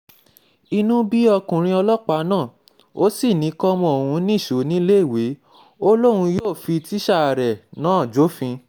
inú bí ọkùnrin ọlọ́pàá náà ò sì ní kọ́mọ òun nìṣó níléèwé ó lóun yóò fi tíṣà rẹ̀ náà jófin